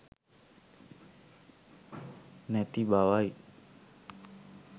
නැති බවයි.